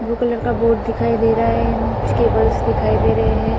Blue colour का board दिखाई दे रहा है एन कुछ केबल्स दिखाई दे रहे हैं।